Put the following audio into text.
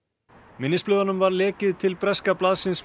minnisblöðunum var lekið til breska blaðsins